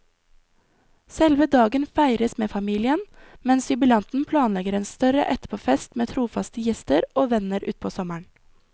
Selve dagen feires med familien, mens jubilanten planlegger en større etterpåfest for trofaste gjester og venner utpå sommeren.